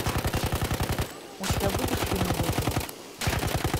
у тебя будет фильм лютый